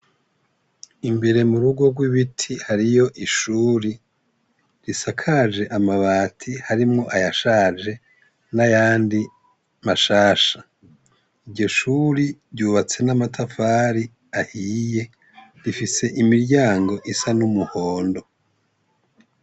Imbere mu rugo rw'ibiti hariyo ishuri risakaje amabati harimwo ayashaje n'ayandi mashasha, iryo shuri ryubatse n'amatafari ahiye rifise imiryango isa n'umuhondo.